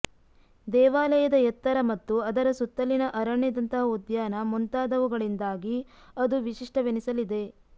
ದೇವಾಲಯದ ಎತ್ತರ ಮತ್ತು ಅದರ ಸುತ್ತಲಿನ ಅರಣ್ಯದಂತಹ ಉದ್ಯಾನ ಮುಂತಾದವುಗಳಿಂದಾಗಿ ಅದು ವಿಶಿಷ್ಟವೆನಿಸಲಿದೆ